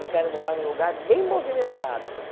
Eu quero morar num lugar bem movimentado.